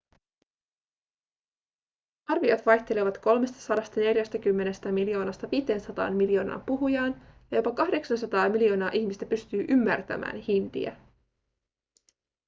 arviot vaihtelevat 340 miljoonasta 500 miljoonaan puhujaan ja jopa 800 miljoonaa ihmistä pystyy ymmärtämään hindiä